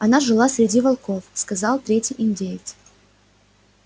она жила среди волков сказал третий индеец